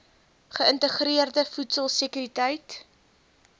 geïntegreerde voedsel sekuriteit